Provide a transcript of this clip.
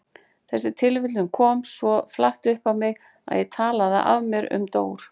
Þessi tilviljun kom svo flatt upp á mig að ég talaði af mér um Dór.